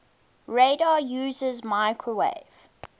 radar uses microwave